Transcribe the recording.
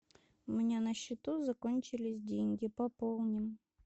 у меня на счету закончились деньги пополни